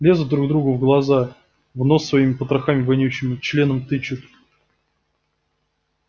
лезут друг другу в глаза в нос своими потрохами вонючими членом тычут